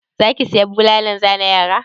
Za ki saya bulalan zane yara?